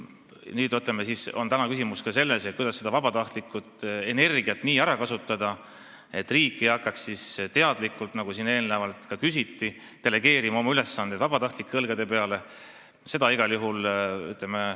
Nüüd on küsimus ka selles, kuidas vabatahtlikku energiat nii ära kasutada, et riik ei hakkaks teadlikult – siin eelnevalt seda küsiti – oma ülesandeid vabatahtlikele delegeerima.